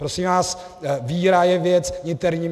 Prosím vás, víra je věc interní.